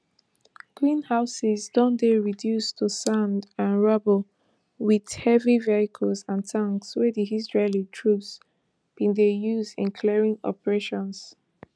greenhouses don dey reduced to sand and rubble wit heavy vehicles and tanks wey di israeli troops bin dey use in clearing operations